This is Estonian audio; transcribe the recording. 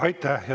Aitäh!